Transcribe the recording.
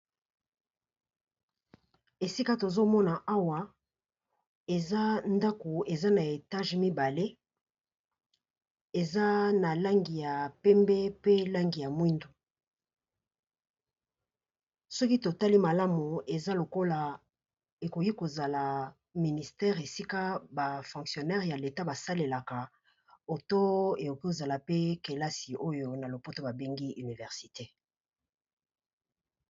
Esika tozomona Awa eza ndaku eza na étage mibale eyza n'a langi ya penbe na mohindo eza lokola ministère.